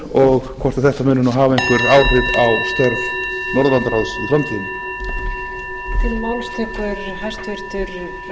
og hvort þetta muni hafa einhver áhrif á störf norðurlandaráðs í framtíðinni